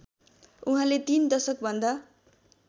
उहाँले तीन दशकभन्दा